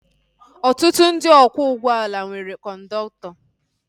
Ọtụtụ ndị ọkwọ ụgbọala nwere kọndọktọ